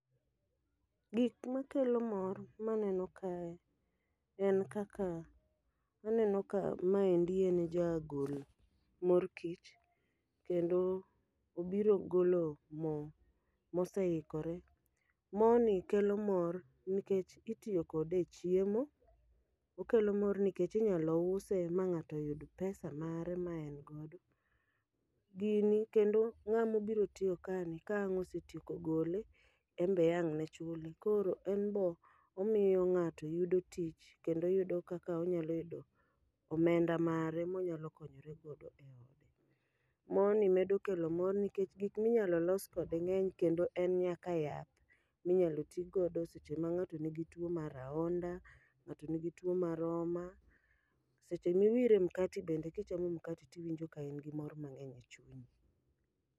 Gik makelo mor maneno kae, en kaka aneno ka maendi en ja gol mor kich. Kendo obiro golo mo moseikore, moni kelo mor nikech itiyo kode e chiemo. Okelo mor nikech inyalo use ma ng'ato yud pesa mare maen godo. Gini kendo ng'amo biro tiyo kani ka ang' osetieko gole, embe ang' ne chule. Koro en bo omiyo ng'ato yudo tich kendo yudo kaka onyalo yudo omenda mare monyalo konyore go e ode. Mo ni medo kelo mor nikech gik minyalo los kode ng'eny kendo en nyaka yath, minyalo ti godo seche ma ng'ato nigi tuo mar ahonda, ng'ato nigi tuo mar oma. Seche miwire e mkati bende kichamo mkati tiwinjo ka in gi mor mang'eny e chunyi.